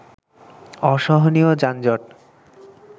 অসহনীয় যানজট